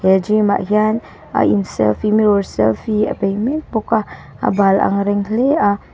he gym ah hian a in selfie mirror selfie a bei mek bawka a bal ang reng hle a.